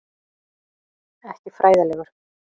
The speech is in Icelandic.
Ekki fræðilegur.